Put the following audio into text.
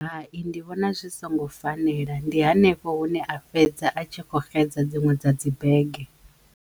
Hai ndi vhona zwi songo fanela ndi hanefho hune a fhedza a tshi kho xedza dziṅwe dza dzi bege.